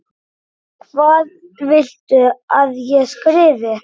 Hvað viltu að ég skrifi?